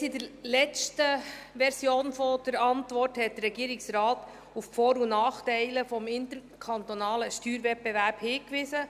Bereits in der letzten Version der Antwort hatte der Regierungsrat auf die Vor- und Nachteile des interkantonalen Steuerwettbewerbs hingewiesen.